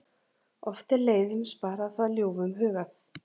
Oft er leiðum sparað það ljúfum hugað.